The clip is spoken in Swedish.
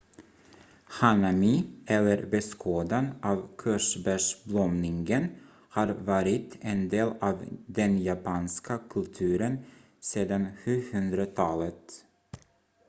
hanami eller beskådan av körsbärsblomningen har varit en del av den japanska kulturen sedan 700-talet